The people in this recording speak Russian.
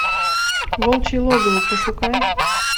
волчье логово пошукай